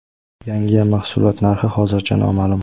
Yangi mahsulot narxi hozircha noma’lum.